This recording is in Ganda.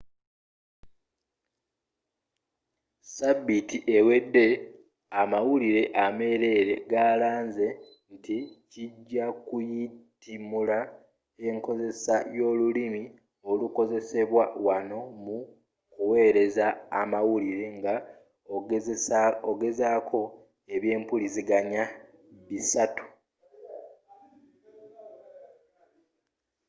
sabiiti ewedde amawulire ameerere galanze nti kijja kuyitimula enkozesa y'olulimi olukozesebwa wonna mu ku wereza amawulire nga ogaseeko ebyempuliziganya bisatu